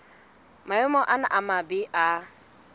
maemo ana a mabe a